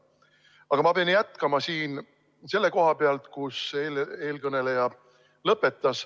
Aga ma pean jätkama siin selle koha pealt, kus eelkõneleja lõpetas.